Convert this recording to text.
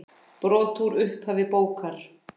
Brot úr upphafi bókar